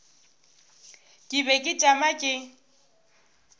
ke be ke tšama ke